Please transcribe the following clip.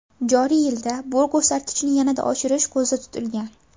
Joriy yilda bu ko‘rsatkichni yanada oshirish ko‘zda tutilgan.